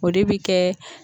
O de bi kɛ